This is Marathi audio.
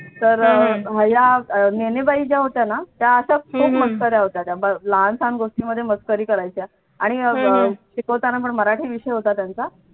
तर या मेणे बाई ज्या होत्या ना त्या अशाच खूप मस्कऱ्या होत्या त्या लहानसहान गोष्टींमध्ये त्या मस्करी करायच्या आणि शिकवताना पण मराठी विषय होता त्यांचा